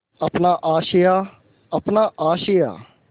अपना आशियाँ अपना आशियाँ